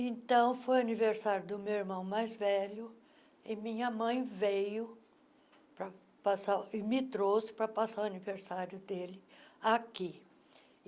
Então, foi o aniversário do meu irmão mais velho e minha mãe veio passar e me trouxe para passar o aniversário dele aqui.